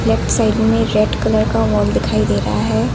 Left side में red colour का wall दिखाई दे रहा है।